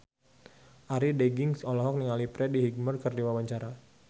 Arie Daginks olohok ningali Freddie Highmore keur diwawancara